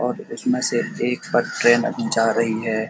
और इस में से एक में जा रही है।